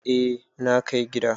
Eh na kai gida.